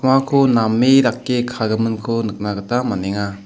name dake kagiminko nikna gita man·enga.